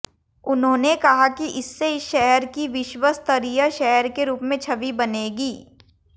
उन्होंने कहा कि इससे इस शहर की विश्व स्तरीय शहर के रूप में छवि बनेगी